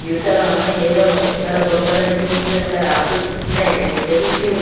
ఏదో లొందల బందులు తీసిన రాదు ఏదో ట్రైన్ లో నుంచి తిసిరు.